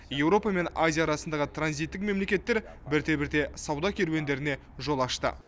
еуропа мен азия арасындағы транзиттік мемлекеттер бірте бірте сауда керуендеріне жол ашты